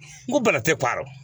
N ko bana tɛ parrɛ